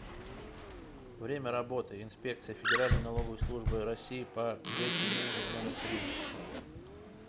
время работы инспекция федеральной налоговой службы россии по г тюмени номер три